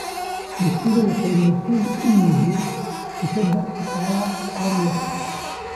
Dugsiyada waxay muhiim u yihiin dhisidda shaqaale aqoon leh.